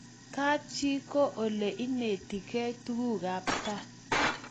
kap chi ko ole ineti kei tuguk ab kaa